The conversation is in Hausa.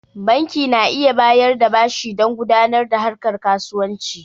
Banki na iya bayar da bashi dan gudanar da harkar kasuwanci